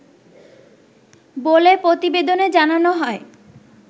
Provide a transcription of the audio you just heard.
বলে প্রতিবেদনে জানানো হয়